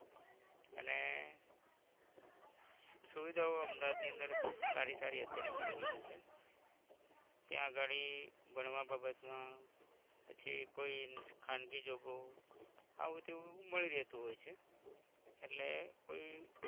સુવિધાઓ અમદાવાદ ની અંદર સારી સારી અત્યારે મળી રાઈલી છે ત્યાં અગાળી ભણવા બાબત મા પછી કોઈ ખાનગી job ઓ આવું તેવું મળી રેટું હોય છે એટલે કોઈ